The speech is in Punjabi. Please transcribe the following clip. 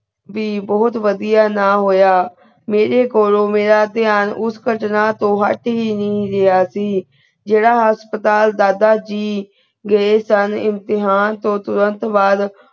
ਵੀ ਬੋਹਤ ਵੜਿਆ ਨਾ ਹੋਯਾ ਮੀਰੀ ਕੋਲੋ ਮੀਰਾ ਤੇਯ੍ਹਾਂ ਉਸ ਕਟਨਾ ਤੋ ਹੁਟ ਹੀ ਨਾਈ ਰਾਯ੍ਹਾ ਸੀ ਜੀਰਾ ਹਸਪਤਾਲ ਦਾਦਾ ਜੀ ਗੇ ਸਨ ਇਮਤਿਹਾਨ ਤੋ ਤੁਰੰਤ ਬਾਅਦ